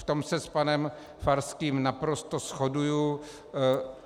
V tom se s panem Farským naprosto shoduji.